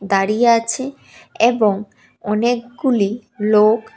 দাঁড়িয়ে আছে এবং অনেকগুলি লোক--